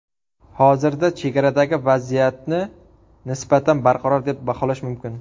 Hozirda chegaradagi vaziyatni nisbatan barqaror deb baholash mumkin.